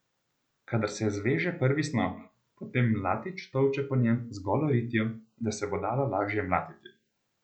Kadar se zveže prvi snop, potem mlatič tolče po njem z golo ritjo, da se bo dalo lažje mlatiti.